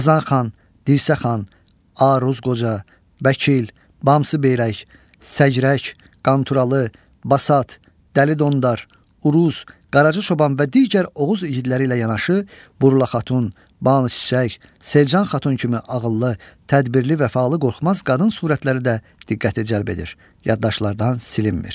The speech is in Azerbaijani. Qazan xan, Dirsə xan, Aruz Qoca, Bəkil, Bamsı Beyrək, Səcrək, Qanturalı, Basat, Dəli Dondar, Urus, Qaracı Çoban və digər Oğuz igidləri ilə yanaşı Burla Xatun, Ban Çiçək, Selcan Xatun kimi ağıllı, tədbirli, vəfalı, qorxmaz qadın surətləri də diqqəti cəlb edir, yaddaşlardan silinmir.